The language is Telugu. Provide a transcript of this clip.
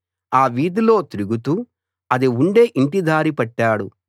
ఆ వీధిలో తిరుగుతూ అది ఉండే యింటి దారి పట్టాడు